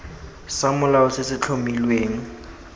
sa molao se se tlhomilweng